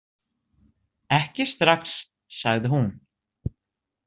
Ekki strax, sagði hún.